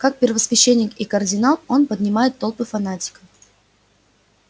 как первосвященник и кардинал он поднимает толпы фанатиков